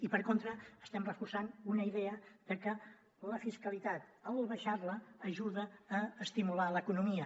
i per contra estem reforçant una idea de que la fiscalitat en baixar la ajuda a estimular l’economia